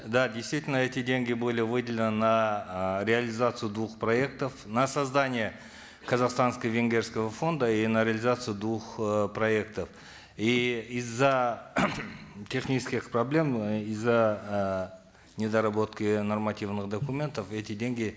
да действительно эти деньги были выделены на э реализацию двух проектов на создание казахстанско венгерского фонда и на реализацию двух э проектов и из за технических проблем из за э недоработки нормативных документов эти деньги